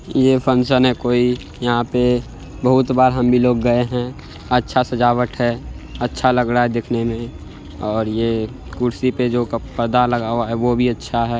ये फंक्शन है कोई यहां पे बहुत बार हम भी लोग गए हैं अच्छा सजाबट है अच्छा लग रहा है देखने में और ये कुर्सी पर जो क प-पर्दा लगा हुआ है ओ भी अच्छा है।